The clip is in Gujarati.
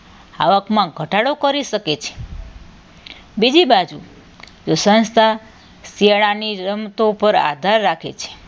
આવકમાં ઘટાડો કરી શકે છે બીજી બાજુ સંસ્થા શિયાળાની રમતો પર આધાર રાખે છે